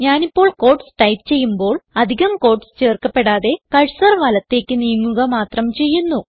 ഞാനിപ്പോൾ quotes type ചെയ്യുമ്പോൾ അധികം ക്യൂട്ടീസ് ചേർക്കപ്പെടാതെ കർസർ വലത്തേക്ക് നീങ്ങുക മാത്രം ചെയ്യുന്നു